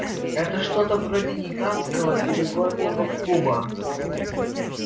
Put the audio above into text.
это что-то вроде гигантского перегонного куба